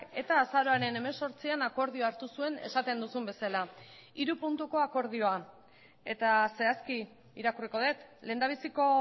eta azaroaren hemezortzian akordioa hartu zuen esaten duzun bezala hiru puntuko akordioa eta zehazki irakurriko dut lehendabiziko